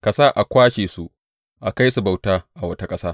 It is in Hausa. Ka sa a kwashe su a kai su bauta a wata ƙasa.